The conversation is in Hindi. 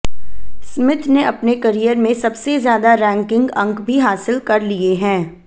स्मिथ ने अपने करिअर में सबसे ज्यादा रैंकिंग अंक भी हासिल कर लिए हैं